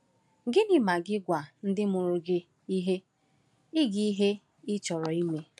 Gịnị ma gị gwa ndị mụrụ gị ihe ị gị ihe ị chọrọ ime?